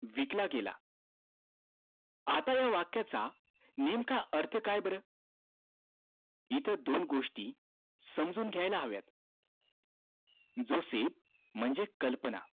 विकला गेला आता ह्या वाक्याचा नेमका अर्थ काय बर? इथं दोन गोष्टी समजून घ्याला हव्यात जोसेफ म्हणजे कल्पना